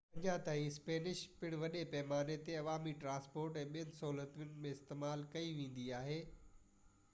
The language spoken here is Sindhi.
اڃان تائين اسپينش پڻ وڏي پيماني تي عوامي ٽرانسپورٽ ۽ ٻين سهولتن ۾ استعمال ڪئي ويندي آهي